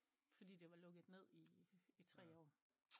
Fordi det var lukket ned i tre år